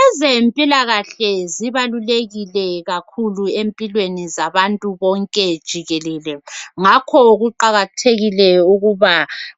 Ezempilakahle zibalulekile kakhulu empilweni zabantu bonke jikelele ngakho kuqakathekile ukuba